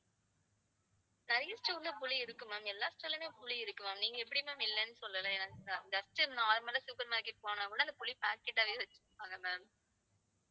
நிறைய store ல புளி இருக்கு ma'am. எல்லா store லயுமே புளி இருக்கு ma'am. நீங்க எப்படி ma'am இல்லன்னு சொல்லலாம். just normal ஆ supermarket போனா கூட அந்த புளி packet ஆவே வச்சிருப்பாங்க ma'am